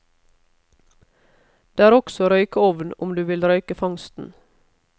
Det er også røykeovn om du vil røyke fangsten.